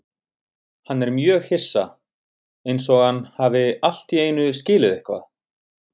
Hann er mjög hissa, einsog hann hafi allt í einu skilið eitthvað.